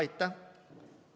Aitäh!